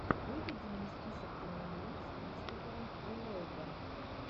выведи мне список кинолент с кристофером ллойдом